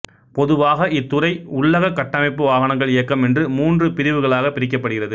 பொதுவாக இத்துறை உள்ளகக் கட்டமைப்பு வாகனங்கள் இயக்கம் என்று மூன்று பிரிவுகளாகப் பிரிக்கப்படுகிறது